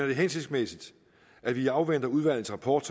det hensigtsmæssigt at vi afventer udvalgets rapport